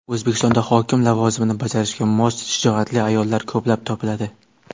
O‘zbekistonda hokim lavozimini bajarishga mos shijoatli ayollar ko‘plab topiladi.